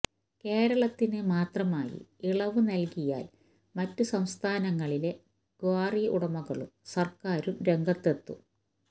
കേരളത്തിന് മാത്രമായി ഇളവ് നല്കിയാല് മറ്റ് സംസ്ഥാനങ്ങളിലെ ക്വാറി ഉടമകളും സര്ക്കാരും രംഗത്ത് എത്തും